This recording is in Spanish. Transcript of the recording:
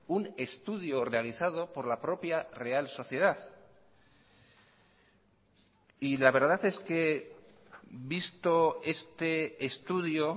un estudio realizado por la propia real sociedad y la verdad es que visto este estudio